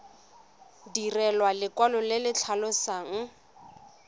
direlwa lekwalo le le tlhalosang